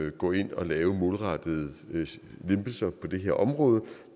at gå ind og lave målrettede lempelser på det her område